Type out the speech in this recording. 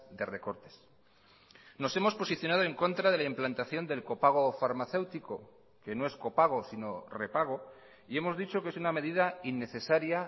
de recortes nos hemos posicionado en contra de la implantación del copago farmacéutico que no es copago sino repago y hemos dicho que es una medida innecesaria